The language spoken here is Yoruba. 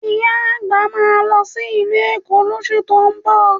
Ìyá àgbà máa lọ sí ìlú Èkó lóṣù tó ń bọ̀